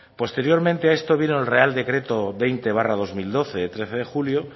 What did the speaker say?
posteriormente a esto vino el real decreto veinte barra dos mil doce de trece de julio